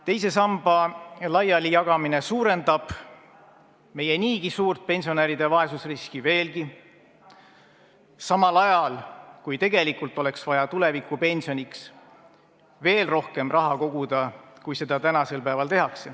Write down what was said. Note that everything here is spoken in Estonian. Teise samba laialijagamine suurendab meie niigi suurt pensionäride vaesusriski veelgi, samal ajal kui tegelikult oleks vaja tulevikupensioniks veel rohkem raha koguda, kui seda tänasel päeval tehakse.